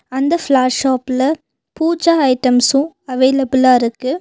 அந்த flower shop ல puja items அவைலபிலா இருக்கு.